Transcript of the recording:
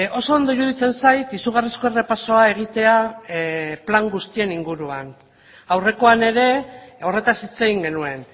oso ondo iruditzen zait izugarrizko errepasoa egitea plan guztien inguruan aurrekoan ere horretaz hitz egin genuen